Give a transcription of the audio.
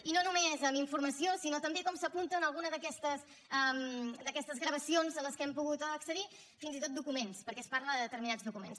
i no només amb informació sinó també com s’apunta en alguna d’aquestes gravacions a les quals hem pogut accedir fins i tot documents perquè es parla de determinats documents